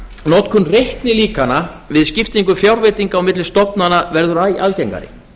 notkun reiknilíkana við skiptingu fjárveitinga á milli stofnana verður æ algengari